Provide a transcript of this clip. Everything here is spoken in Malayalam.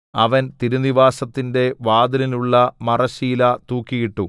അവൻ തിരുനിവാസത്തിന്റെ വാതിലിനുള്ള മറശ്ശീല തൂക്കിയിട്ടു